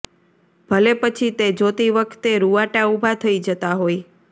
ભલે પછી તે જોતી વખતે રૂંવાટા ઉભા થઈ જતા હોય